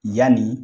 Yanni